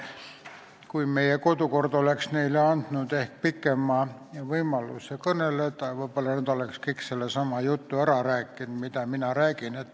Kui meie kodukord oleks andnud neile võimaluse pikemalt kõneleda, siis võib-olla oleksid nad ära rääkinud kogu selle jutu, mida mina nüüd räägin.